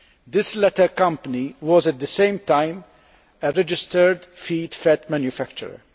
This latter company was, at the same time, a registered feed fat manufacturer